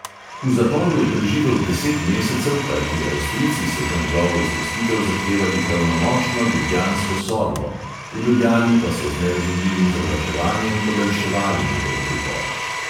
V zaporu je preživel deset mesecev, kajti avstrijci so za njegovo izpustitev zahtevali pravnomočno ljubljansko sodbo, v ljubljani pa so z nerazumljivim zavlačevanjem podaljševali njegov pripor.